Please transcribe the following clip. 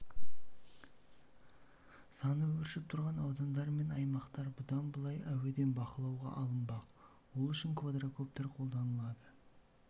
саны өршіп тұрған аудандар мен аймақтар бұдан былай әуеден бақылауға алынбақ ол үшін квадракоптер қолданылады